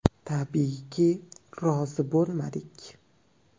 Tabiiyki, rozi bo‘lmadik.